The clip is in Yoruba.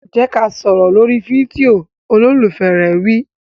Jẹ́ ká sọ̀rọ̀ lórí fídíò! Olólùfẹ́ rẹ̀ wí.